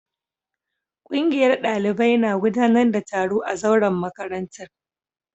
Kungiyar dalibai na gudanar da taro a zauren makarantar